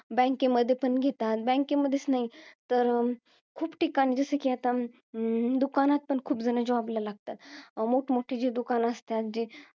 Bank मध्ये पण घेतात. Bank मध्येच नाही, तर खूप ठिकाणी, जसं कि आता हम्म दुकानात पण आता खूप जण job ला लागतात. मोठमोठी जी दुकानं असतात, जी